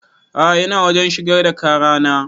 A'a ina wajen shigar da ƙara na